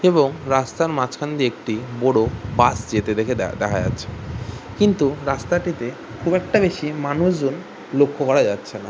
এবং রাস্তার মাঝখান দিয়ে একটি বোড়ো বাস যেতে দেখে দে দেখা যাচ্ছে কিন্তু রাস্তাটিতে খুব একটা বেশি মানুষজন লক্ষ্য করা যাচ্ছেনা।